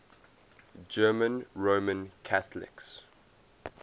german roman catholics